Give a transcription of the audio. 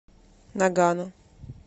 нагано